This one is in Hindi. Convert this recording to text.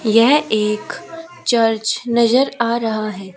यह एक चर्च नजर आ रहा है।